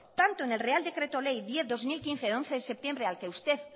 tanto en el real decreto ley diez barra dos mil quince de once de septiembre al que usted